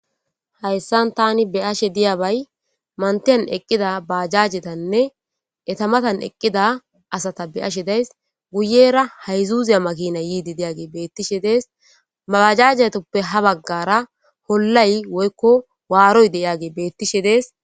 Hayssan tani beyashe diya bay mantiyan eqqida baajajetanne etamatan eqqida asata beashe days guyera hayzuuziya makina yiidi deyage beettishe dees maajajetoppe ha baggara hollay woykko waaroy deyage beettishe dees.